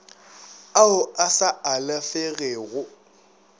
ao a sa alafegego a